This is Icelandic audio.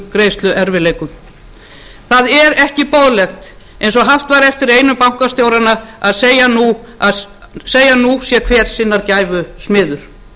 greiðsluerfiðleikum það er ekki boðlegt eins og haft var eftir einum bankastjóranna að segja að nú sé hver sinnar gæfu smiður